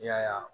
I y'a ye